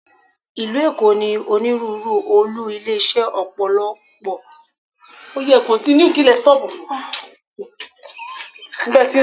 Ìlú Èkó ní onírúurú olú ilé iṣẹ́ Ọ̀pọ̀lọ́pọ̀ ilé iṣẹ́ ìfowópamọ́.